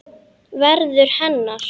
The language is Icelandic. Verður hennar.